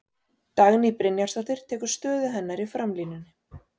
Dagný Brynjarsdóttir tekur stöðu hennar í framlínunni.